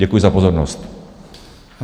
Děkuji za pozornost.